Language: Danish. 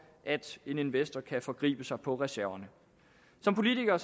at en investor kan forgribe sig på reserverne som politikere